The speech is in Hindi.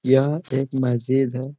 यह एक मस्जिद है।